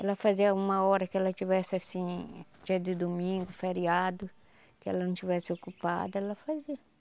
Ela fazia uma hora que ela tivesse, assim, dia de domingo, feriado, que ela não estivesse ocupada, ela fazia.